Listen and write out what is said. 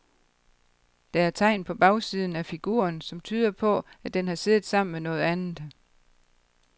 Der er tegn på bagsiden af figuren, som tyder på, at den har siddet sammen med noget andet.